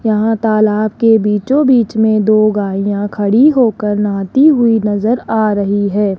यहां तालाब के बीचो बीच में दो गाईया खड़ी होकर नहाती हुई नजर आ रही है।